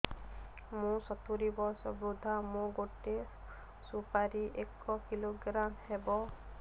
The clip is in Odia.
ମୁଁ ସତୂରୀ ବର୍ଷ ବୃଦ୍ଧ ମୋ ଗୋଟେ ସୁପାରି ଏକ କିଲୋଗ୍ରାମ ହେବ